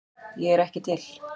Ég er ekki til